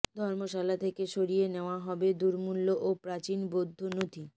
ধর্মশালা থেকে সরিয়ে নেওয়া হবে দুর্মূল্য ও প্রাচীন বৌদ্ধ নথি